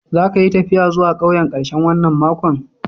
Za ka yi taffiya zuwa ƙauyen karshen wanan makon?